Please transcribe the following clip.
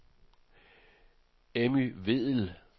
Emmy Vedel